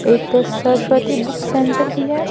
एक Saraswati book centre भी है।